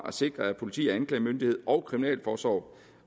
at sikre at politi og anklagemyndighed og kriminalforsorg